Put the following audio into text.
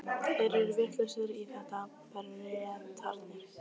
Þeir eru vitlausir í þetta, Bretarnir.